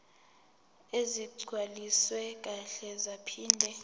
ezigcwaliswe kahle zaphinde